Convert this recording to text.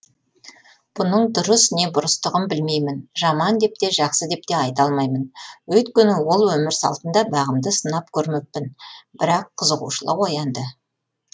бұнын дұрыс не бұрыстығын білмеймін жаман деп те жақсы деп те айта алмаймын өйткені ол өмір салтында бағымды сынап көрмеппін бірақ қызығушылық оянды